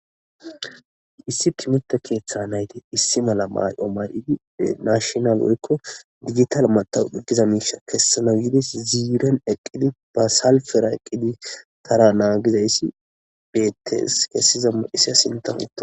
issi timerta keeththa nayti issi mala may7o may7idi nashnal woykko digital matawuqe giza miisha kessanawides ziiren eqqidi ba salfera eqqidi tara naagizayssi beettees heyssa sintan